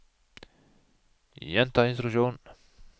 gjenta instruksjon